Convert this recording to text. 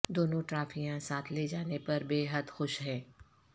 دونوں ٹرافیاں ساتھ لے جانے پر بے حد خوش ہیں